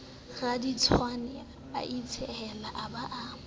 raditshehwane a itshehela a ba